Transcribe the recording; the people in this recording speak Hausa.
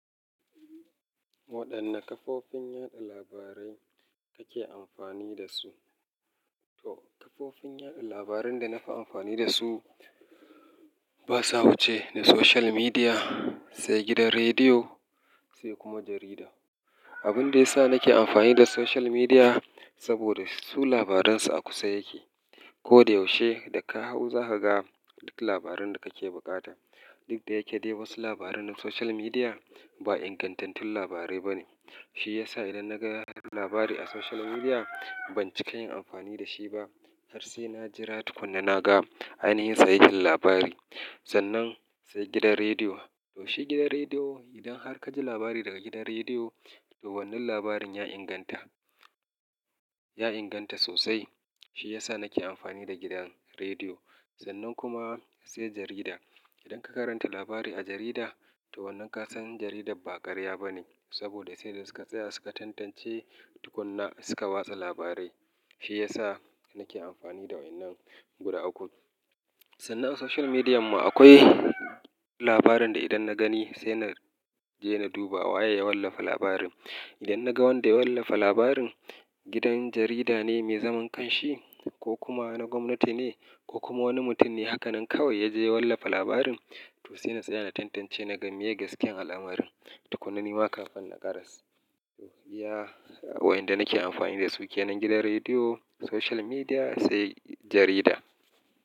Waɗanne kafofin yaɗa labarai kake amfani da su? To kafofin yaɗa labaran da nafi amfani da su ba sa wuce da social media, sai gidan rediyo, sai kuma jarida. Abin da ya sa nake amfani da social media saboda su labaran su a kusa yake. Ko da yaushe da ka hau za ka ga duk labarin da kake buƙata. Duk da yake dai wasu labaran na social media ba ingantattun labarai ba ne. Shi yasa idan na ga labari a social media, ban ci kai yin amfani da shi ba har sai na jira tukuna na ga ainihin sayihin labari. Sannan sai gidan rediyo. To shi gidan rediyo, idan har ka ji labari daga gidan rediyo, to wannan labarin ya inganta, ya inganta sosai. Shi ya sa nake amfani da gidan rediyo. Sannan kuma sai jarida. Idan ka karanta labari a jarida, to wannan ka san jaridar ba ƙarya ba ne saboda sai da suka tsaya suka tantance tukuna suka watsa labarai. Shi ya sa nake amfani da waɗannan guda uku. Sannan a social media ma akwai labarin da idan na gani sai na je na duba waye ya wallafa labarin. Idan na ga wanda ya wallafa labarin, gidan jarida ne mai zaman ƙanshi ko kuma na gwamnati ne ko kuma wani mutum ne haka nan kawai ya je ya wallafa labarin. To sai na tsaya na tantance, na ga meye gaskiyan alamarin tukuna nima kafin na karasa. To iya waɗanda nake amfani da su kenan gidan rediyo, social media sai jarida.